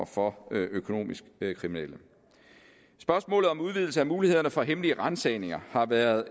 for økonomisk kriminelle spørgsmålet om udvidelse af mulighederne for hemmelige ransagninger har været